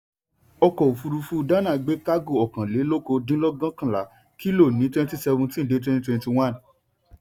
ọkọ̀òfúrufú dánà gbé kágò ọ̀kàn lé lókòó dín lẹ́gbẹ̀kànlà kílò ní twenty seventeen dé twenty twenty one.